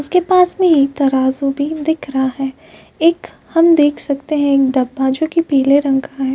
उसके पास में एक तराजू भी दिख रहा है। एक हम देख सकते हैं एक डब्बा जोकि पीले रंग का है।